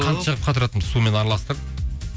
қант жағып қатыратынбыз сумен араластырып